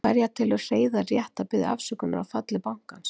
Enn hverja telur Hreiðar rétt að biðja afsökunar á falli bankans?